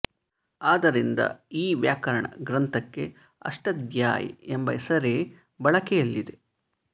ಆದ್ದರಿಂದ ಈ ವ್ಯಾಕರಣ ಗ್ರಂಥಕ್ಕೆ ಅಷ್ಟಾಧ್ಯಾಯಿ ಎಂಬ ಹೆಸರೇ ಬಳಕೆಯಲ್ಲಿದೆ